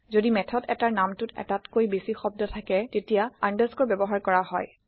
যদি মেথড এটাৰ নামটোত এটাতকৈ বেচি শব্দ থাকে তেতিয়া আন্দাৰস্কোৰ ব্যৱহাৰ কৰা হয়